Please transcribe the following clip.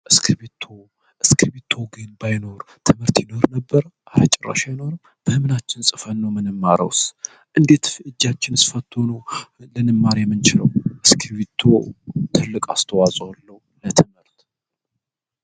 እስክቢቶ ግን ባይኖር ትምህርት ይኖር ነበር አራጭራሻ ይኖርም በህምናችን ጽፈኖ ምን ማረውስ እንጌትእጃችን እስፈትሆኑ ልንማር የምንች ነው እስክቪቶ ትልቅ አስተዋፀለው ለትነልት